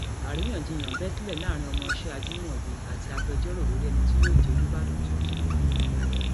àríyànjiyàn bẹ sílẹ láàrin ọmọọṣẹ ajimobi àti agbẹjọrò lórí ẹni tí yóò jẹ olùbàdàn tuntun